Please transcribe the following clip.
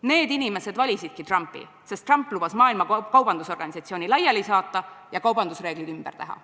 Need inimesed valisidki Trumpi, sest Trump lubas Maailma Kaubandusorganisatsiooni laiali saata ja kaubandusreeglid ümber teha.